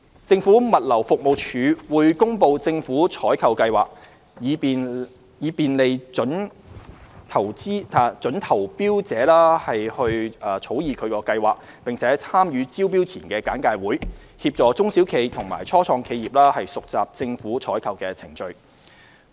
政府物流服務署會公布政府採購計劃，以便利準投標者草擬其計劃，並參與招標前簡介會，協助中小企和初創企業熟習政府採購的程序。